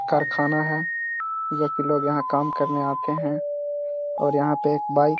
कारख़ाना है। लोग यहाँ काम करने आते हैं और यहाँ पे एक बाइक --